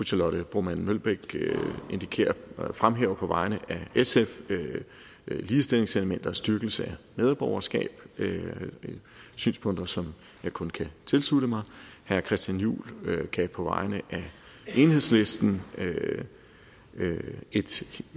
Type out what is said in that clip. charlotte broman mølbæk fremhæver på vegne af sf ligestillingselementer styrkelse af medborgerskab og det er synspunkter som jeg kun kan tilslutte mig herre christian juhl gav på vegne af enhedslisten et